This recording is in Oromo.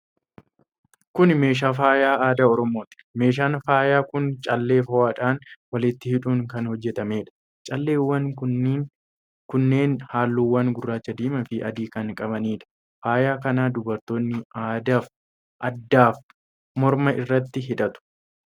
Kun meeshaa faayaa aadaa Oromooti. Meeshaan faayaa kun callee fo'aadhaan walitti hidhuun kan hojjetameedha. Calleewwan kunneen halluuwwan gurraacha, diimaa fi adii kan qabaniidha. Faayaa kana dubartoonni addaafi morma irratti hidhatu.